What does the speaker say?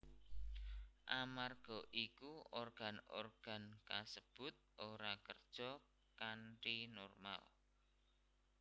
Amarga iku organ organ kasebut ora kerja kanthi normal